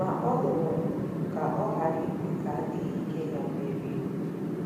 Ma ọ lụrụ ọgụ ka ọ ghara ikwe ka adịghị ike ya merie.